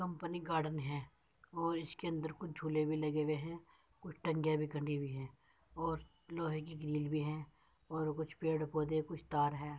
Company garden है और इसके अंदर कुछ झूले भी लगे हुए हैं | कुछ भी टंगी हुई हैं और लोहे की ग्रिरील भी हैं और कुछ पेड़ -पौधे कुछ तार हैं।